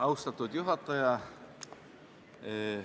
Austatud juhataja!